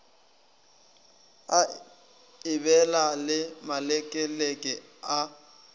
a ebela le malekeleke a